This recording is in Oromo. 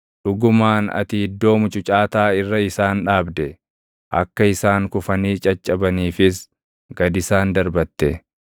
Dhugumaan ati iddoo mucucaataa irra isaan dhaabde; akka isaan kufanii caccabaniifis gad isaan darbatte.